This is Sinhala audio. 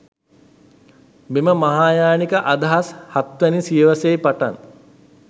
මෙම මහායානික අදහස් හත්වැනි සියවසේ පටන්